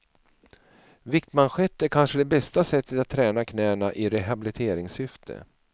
Viktmanschett är det kanske bästa sättet att träna knäna i rehabiliteringssyfte.